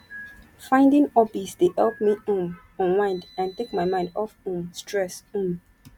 finding hobbies dey help me um unwind and take my mind off um stress um